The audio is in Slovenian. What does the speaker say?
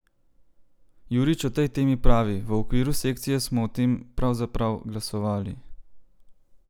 Jurič o tej temi pravi: "V okviru sekcije smo o tem pravzaprav glasovali.